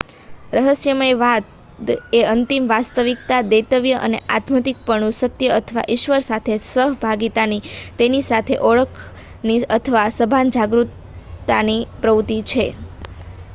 રહસ્યવાદ એ અંતિમ વાસ્તવિકતા દૈવત્વ અધ્યાત્મિક સત્ય અથવા ઈશ્વર સાથે સહભાગિતાની તેની સાથે ઓળખની અથવા સભાન જાગરૂકતાની પ્રવૃત્તિ છે